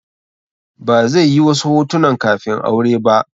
Ba zai yi wasu hotunan kafin aure ba.